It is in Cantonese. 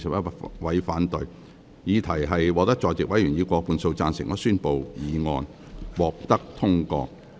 由於議題獲得在席委員以過半數贊成，他於是宣布議案獲得通過。